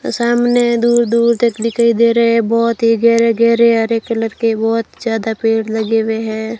और सामने दूर दूर तक दिखाई दे रहे है बहोत ही गहरे गहरे हरे कलर के बहोत ही ज़्यादा पेड़ लगे हुए हैं।